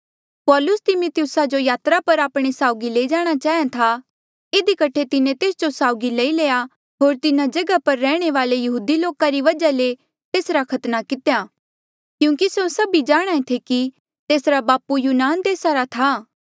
पौलुस तिमीथियुसा जो यात्रा पर आपणे साउगी ले जाणा चाहेया था इधी कठे तिन्हें तेस जो साउगी लई लया होर तिन्हा जगहा पर रैहणे वाले यहूदी लोका री वजहा ले तेसरा खतना कितेया क्यूंकि स्यों सभी जाणहां ऐें थे कि तेसरा बापू यूनान देसा रा था